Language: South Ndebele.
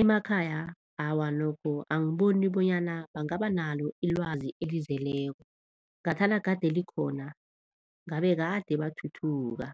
Emakhaya, awa nokho angiboni bonyana bangaba nalo ilwazi elizeleko, ngathana kade likhona ngabe kade bathuthuka.